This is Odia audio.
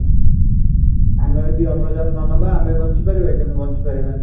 ଆମେ ଯଦି ଅମ୍ଳଜାନ ନ ନେବା ଆମେ ବଞ୍ଚିପାରିବା କି ବଞ୍ଚିପାରିବାନି